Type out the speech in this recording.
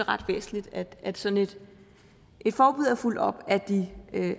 ret væsentligt at sådan et forbud er fulgt op af de